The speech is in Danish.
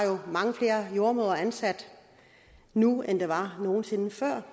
er mange flere jordemødre ansat nu end der nogen sinde før